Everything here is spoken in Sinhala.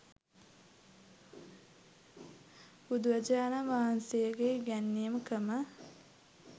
බුදුරජාණන් වහන්සේගේ ඉගැන්වීම් ක්‍රම